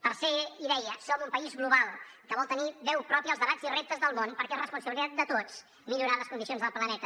tercera idea som un país global que vol tenir veu pròpia als debats i reptes del món perquè és responsabilitat de tots millorar les condicions del planeta